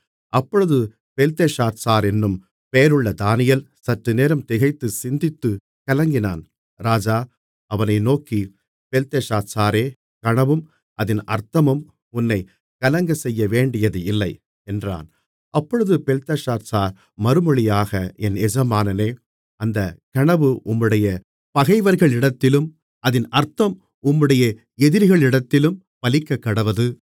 அப்பொழுது பெல்தெஷாத்சாரென்னும் பெயருள்ள தானியேல் சற்றுநேரம் திகைத்துச் சிந்தித்துக் கலங்கினான் ராஜா அவனை நோக்கி பெல்தெஷாத்சாரே கனவும் அதின் அர்த்தமும் உன்னைக் கலங்கச்செய்யவேண்டியதில்லை என்றான் அப்பொழுது பெல்தெஷாத்சார் மறுமொழியாக என் எஜமானனே அந்தச் கனவு உம்முடைய பகைவர்களிடத்திலும் அதின் அர்த்தம் உம்முடைய எதிரிகளிடத்திலும் பலிக்கக்கடவது